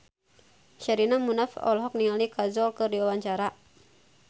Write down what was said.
Sherina Munaf olohok ningali Kajol keur diwawancara